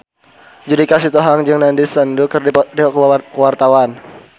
Judika Sitohang jeung Nandish Sandhu keur dipoto ku wartawan